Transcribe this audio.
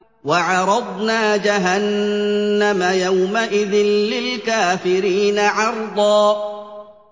وَعَرَضْنَا جَهَنَّمَ يَوْمَئِذٍ لِّلْكَافِرِينَ عَرْضًا